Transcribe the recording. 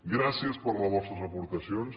gràcies per les vostres aportacions